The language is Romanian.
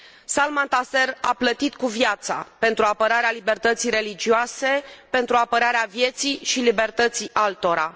Salman Taseer a plătit cu viața pentru apărarea libertății religioase, pentru apărarea vieții și libertății altora.